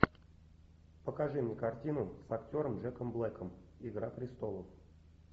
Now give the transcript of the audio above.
покажи мне картину с актером джеком блэком игра престолов